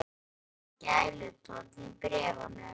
Það er hlýr gælutónn í bréfunum.